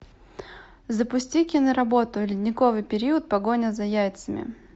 запусти киноработу ледниковый период погоня за яйцами